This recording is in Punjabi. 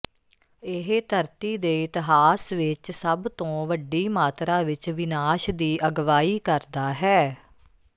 ਇਹ ਧਰਤੀ ਦੇ ਇਤਿਹਾਸ ਵਿਚ ਸਭ ਤੋਂ ਵੱਡੀ ਮਾਤਰਾ ਵਿਚ ਵਿਨਾਸ਼ ਦੀ ਅਗਵਾਈ ਕਰਦਾ ਹੈ